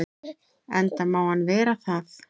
Enda má hann vera það.